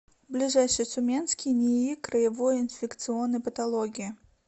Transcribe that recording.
ближайший тюменский нии краевой инфекционной патологии